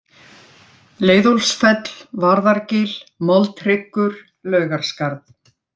Leiðólfsfell, Varðargil, Moldhryggur, Laugarskarð